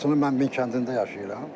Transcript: Laçını mən Minkəndində yaşayıram.